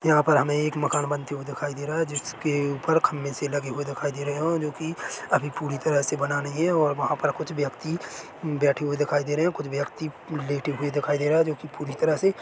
यहाँ पर हमें एक मकान बनते हुए दिखाई दे रहा है जिसके ऊपर खंभे से लगे हुए दिखाई दे रहे है और जो कि अभी पूरी तरह से बना नही है और वहाँ पर कुछ व्यक्ति बैठें हुए दिखाई दे रहे हैं कुछ व्यक्ति लेटे हुए दिखाई दे रहा है जो कि पूरी तरह से--